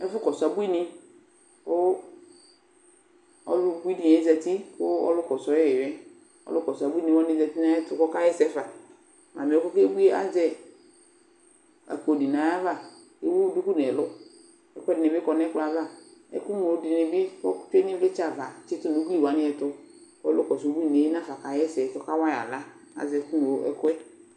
Ɛfʋkɔsʋ abuinɩ kʋ ɔlʋ ubuinɩ yɛ zati kʋ ɔlʋkɔsʋ yɩ yɛ, ɔlʋkɔsʋ abuinɩ wanɩ zati nʋ ayɛtʋ kʋ ɔkaɣa ɛsɛ fa Mamɩ yɛ kʋ ɔkebui yɛ azɛ akpo dɩ nʋ ayava kʋ ewu duku nʋ ɛlʋ kʋ ɛkʋɛdɩnɩ bɩ kɔ nʋ ɛkplɔ yɛ ava Ɛkʋŋlo dɩnɩ bɩ ɔtɛ nʋ ɩvlɩtsɛ ava tsɩtʋ nʋ ugli wanɩ ɛtʋ kʋ ɔlʋkɔsʋ ubuinɩ yɛ nafa kaɣa ɛsɛ kʋ ɔka wa yɩ aɣla Azɛ ɛkʋŋlo ɛkʋ yɛ